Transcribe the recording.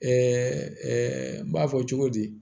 n b'a fɔ cogo di